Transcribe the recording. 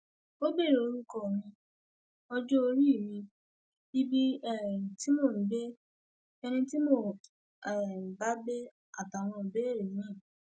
ó béèrè orúkọ mi ọjọorí mi ibi um tí mò ń gbé ẹni tí mò ń um bá gbé àtàwọn ìbéèrè miín